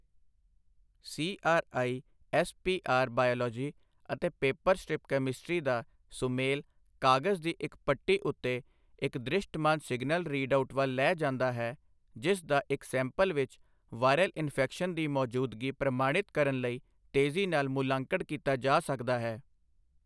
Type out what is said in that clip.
CRISPR biology ਅਤੇ paper strip chemistry ਦਾ ਸੁਮੇਲ ਕਾਗਜ਼ ਦੀ ਇੱਕ ਪੱਟੀ ਉੱਤੇ ਇੱਕ ਦ੍ਰਿਸ਼ਟਮਾਨ ਸਿਗਨਲ ਰੀਡਆਉਟ ਵੱਲ ਲੈ ਜਾਂਦਾ ਹੈ, ਜਿਸ ਦਾ ਇੱਕ ਸੈਂਪਲ ਵਿੱਚ ਵਾਇਰਲ ਇਨਫ਼ੈਕਸ਼ਨ ਦੀ ਮੌਜੂਦਗੀ ਪ੍ਰਮਾਣਿਤ ਕਰਨ ਲਈ ਤੇਜ਼ੀ ਨਾਲ ਮੁੱਲਾਂਕਣ ਕੀਤਾ ਜਾ ਸਕਦਾ ਹੈ।